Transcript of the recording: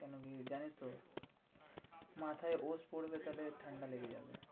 কেন কি জানিস তো? মাথায় পড়বে, তাহলে ঠান্ডা লেগে যাবে।